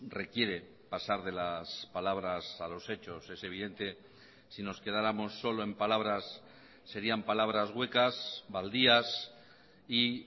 requiere pasar de las palabras a los hechos es evidente si nos quedáramos solo en palabras serían palabras huecas baldías y